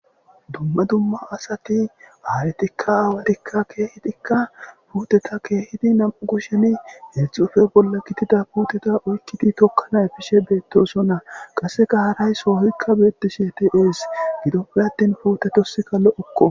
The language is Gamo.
Dumma dumma asati aayetikka aawatika keehidika puuteta keehidi nam'u kusheni hedzdzu ki'o bolla gidida puuteta oykkidi tokkana epishe beetosona; qasseka haray sohoyka beetishe de'es; gidoppe atin puute tossika lo'oko.